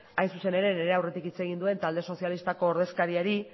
hain zuzen ere nire aurretik hitz egin duen talde sozialistako ordezkariari